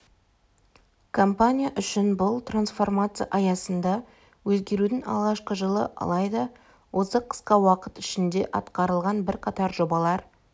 компания үшін бұл трансформация аясында өзгерудің алғашқы жылы алайда осы қысқа уақыт ішінде атқарылған бірқатар жобалар